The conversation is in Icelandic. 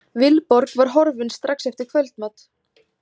Vilborg var horfin strax eftir kvöldmat.